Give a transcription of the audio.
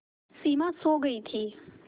सिमा सो गई थी